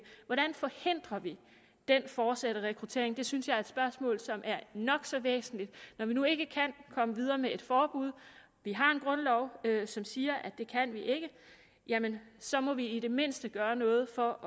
hvordan forhindrer vi den fortsatte rekruttering det synes jeg er et spørgsmål som er nok så væsentligt når vi nu ikke kan komme videre med et forbud vi har en grundlov som siger at det kan vi ikke jamen så må vi i det mindste gøre noget for